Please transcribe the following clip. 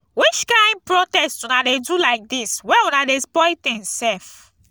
which kind protest una dey do lai dis wey una dey spoil tins sef.